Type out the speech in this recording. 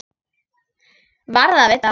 Varð að vita það.